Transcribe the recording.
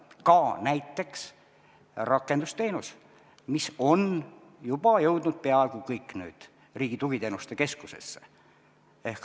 Ka näiteks rakendusteenus, mis on juba jõudnud peaaegu täiesti Riigi Tugiteenuste Keskusesse.